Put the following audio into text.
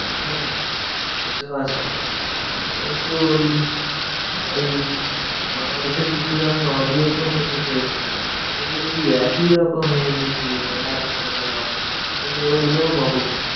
হম সেতো আসে কিন্তু ওই বাংলাদেশের কিছু আমি audio শুনি ভুতের। সেগুলো দেখি একই রকম দিয়ে যায় একটানা লম্বা। কিন্তু ওদের গুলোও popular.